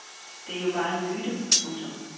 Det er jo bare en myte. punktum